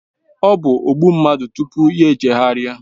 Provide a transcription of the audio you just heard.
Ọ bụ ogbu mmadụ tupu ya chegharịa